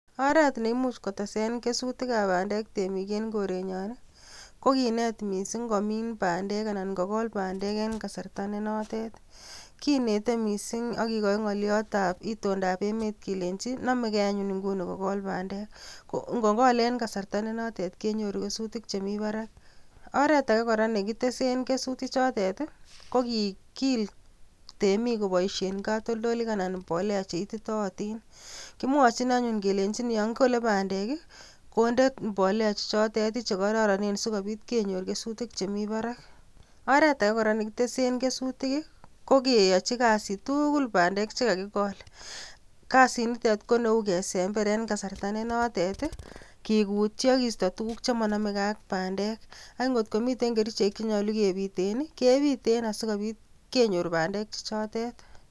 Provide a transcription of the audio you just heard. Oreet neimuch kotesen kesutikab bandek temik en korenyon i, kokinet mising komiin bandek anan kokol bandek en kasarta nenotet, kinetee mising akikoi ng'oliotab itondab emet kelenchi nomekee anyun ing'uni kokol bandek, ko ng'okol en kasarta nenotet kenyoru kesutik chemii barak, oreet akee kora nekitesen kesuti chotet i kokikiil temik koboishen katoldolik anan mbolea cheititootin, kimwochin anyuun kelenchin yoon kolee bandek i kondee mbolea chechotet i chekororonen sikobit kenyor kesutik chemii barak, oreet akee kora nekitesen kesutik kokeyochi kasit tukul bandek chekakikol, kasinitet koneu kesember en kasarta nenotet i, kikutyii akisto tukuk chemonomekee ak bandek ang'otkomiten kerichek chenyolu kebiten i kebiten asikobit kenyor bandek chechotet.